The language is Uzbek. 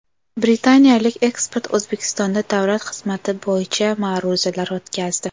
Britaniyalik ekspert O‘zbekistonda davlat xizmati bo‘yicha ma’ruzalar o‘tkazdi.